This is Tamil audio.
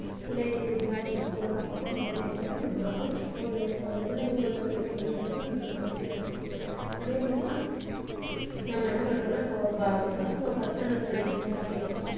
பிள்ளைங்களுக்கு தாவது ஒரு school லா பார்த்து நம்ம சேர்த்தா தான் நம்ம வந்து ஒரு பிள்ளைங்கள ஒரு level க்கு கொண்டு வர்றதுக்கு நம்மளுக்கு easy யா இருக்கும் அதே மாதிரி தான் நாம என்ன பண்றோம்னா இப்போ பசங்க first starndad படிக்குதுங்க அப்படின்னா